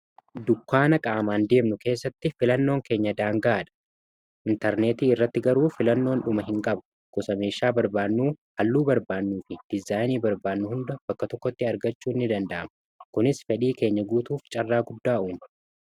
dukkaana qaamaan deemnu keessatti filannoon keenya daanga'a dha intarneetii irratti garuu filannoon dhuma hin qabu gosameeshaa halluu barbaannuu fi dizaayinii barbaannuu hunda bakka tokkotti argachuu ini danda'ama kunis fedhii keenya guutuuf carraa guddaa'uun